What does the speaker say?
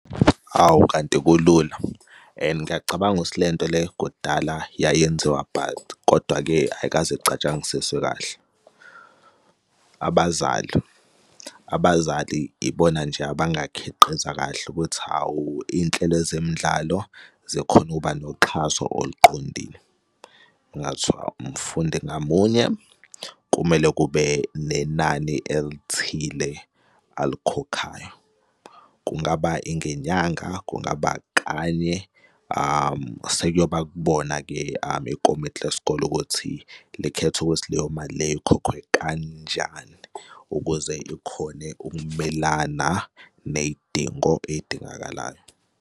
Hawu, kanti kulula, and ngiyacabanga ukuthi le nto le kudala yayenziwa but, kodwa-ke ayikaze icatshangisiswe kahle. Abazali, abazali ibona nje abangakhiqiza kahle ukuthi, hawu, iy'nhlelo zemidlalo zikhona ukuba noxhaso oluqondile. Kungathiwa umfundi ngamunye kumele kube nenani elithile alikhokhayo. Kungaba ingenyanga, kungaba kanye sekuyoba kubona-ke ikomiti lesikole ukuthi likhetha ukuthi leyo mali leyo ikhokhwe kanjani ukuze ikhone ukumelana ney'dingo ey'dingakalayo.